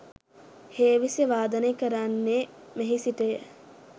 හේවිසි වාදනය කරන්නේ මෙහි සිටය.